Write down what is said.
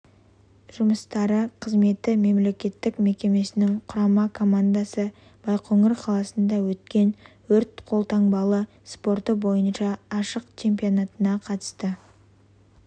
жұмыстары қызметі мемлекеттік мекемесінің құрама командасы байқоңыр қаласында өткен өрт қолтанбалы спорты бойынша ашық чемпионатына қатысты